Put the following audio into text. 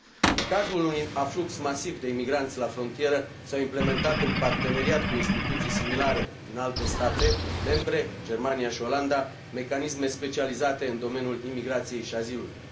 În cazul unui aflux masiv de imigranți la frontieră s au implementat, în parteneriat cu instituții similare din alte state membre, Germania și Olanda, mecanisme specializate în domeniul imigrației și azilului.